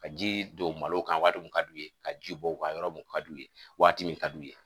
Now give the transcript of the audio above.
Ka ji don malo kan waati mun ka d'u ye, ka ji bɔ u kan yɔrɔ mun ka di u ye waati mun ka d'u ye.